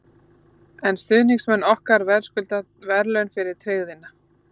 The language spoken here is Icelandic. En stuðningsmenn okkar verðskulda verðlaun fyrir tryggðina.